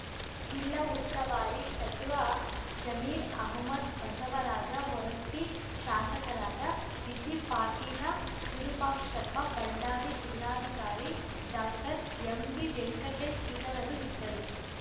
ಜಿಲ್ಲಾ ಉಸ್ತುವಾರಿ ಸಚಿವ ಜಮೀರ್‌ ಅಹ್ಮದ್‌ ಬಸವರಾಜ ಹೊರಟ್ಟಿ ಶಾಸಕರಾದ ಬಿಸಿ ಪಾಟೀಲ ವಿರೂಪಾಕ್ಷಪ್ಪ ಬಳ್ಳಾರಿ ಜಿಲ್ಲಾಧಿಕಾರಿ ಡಾಕ್ಟರ್ ಎಂವಿ ವೆಂಕಟೇಶ್‌ ಇತರರು ಇದ್ದರು